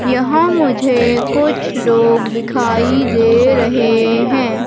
यहाँ मुझे कुछ लोग दिखाइ दे रहे हैं।